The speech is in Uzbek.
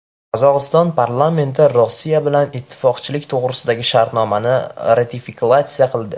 Qozog‘iston parlamenti Rossiya bilan ittifoqchilik to‘g‘risidagi shartnomani ratifikatsiya qildi.